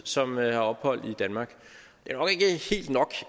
som har ophold i danmark det